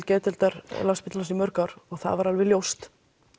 geðdeildar Landspítalans í mörg ár og það var alveg ljóst